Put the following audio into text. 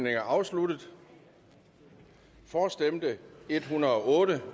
er afsluttet for stemte en hundrede og otte